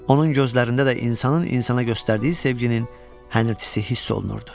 Onun gözlərində də insanın insana göstərdiyi sevginin həyəcanı hiss olunurdu.